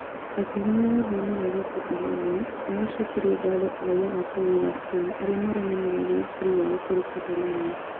Akĩhũthĩra rũthiomi rwa gĩcotalonia nĩaracokeirie ngatho raiya a bũrũri wa Spain arĩa maronanirie wĩrutĩri wao kũrĩ Catalonia